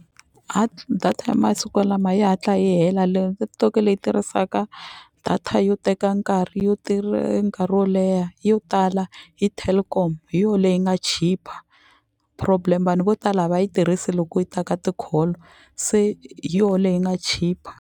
data ya masiku lama yi hatla yi hela leyo leyi tirhisaka data yo teka nkarhi yo tirha nkarhi wo leha yo tala i Telkom hi yo leyi nga chipa problem vanhu vo tala a va yi tirhisi loko yi ta ka ti-call se hi yo leyi nga chipa.